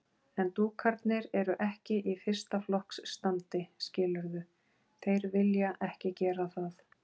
En dúkarnir eru ekki í fyrsta flokks standi, skilurðu. þeir vilja ekki gera það.